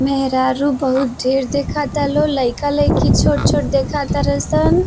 मेहरारू बहुर ढ़ेर देखता लो। लइका लईकी छोट-छोट देखतर सन।